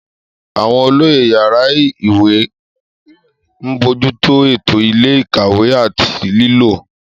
Àwọn olóyè yàrá ìyáwèékàwé ń bójú tó ètò ilé-ìkàwé àti ìlò.